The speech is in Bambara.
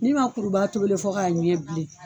kuruba tobi le fɔ k'a ɲɛ bilen.